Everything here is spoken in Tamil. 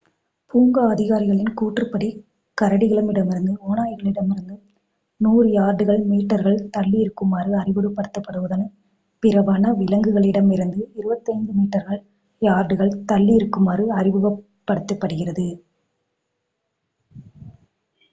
பூங்கா அதிகாரிகளின் கூற்றுப்படி கரடிகளிடமிருந்தும் ஓநாய்களிடம் இருந்தும் 100 யார்டுகள்/மீட்டர்கள் தள்ளி இருக்குமாறு அறிவுறுத்தப்படுவதுடன் பிற வன விலங்குகளிடம் இருந்து 25 மீட்டர்கள்/யார்டுகள் தள்ளி இருக்குமாறு அறிவுறுத்தப்படுகிறது!